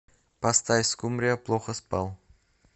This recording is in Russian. поставь скумбрия плохоспал